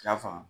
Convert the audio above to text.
I y'a faamu